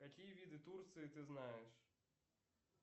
какие виды турции ты знаешь